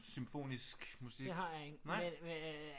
Symfonisk musik nej